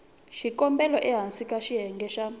xikombelo ehansi ka xiyenge xa